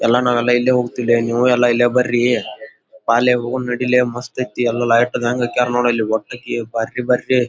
ಎಲ್ಲ ನಾವು ಎಲ್ಲ ಇಲ್ಲೇ ಹೋಗತಿದ್ದೆ ನೀವು ಇಲ್ಲೇ ಬರ್ರಿ ಶಾಲೆಗ್ ಹೋಗುನ್ ನಡಿಲೇ ಮಸ್ತ್ ಐತೆ ಎಲ್ಲ ಲೈಟ್ ಆದಂಗ್ ಹಾಕ್ಯಾರ ಬರ್ರಿ ಬರ್ರಿ .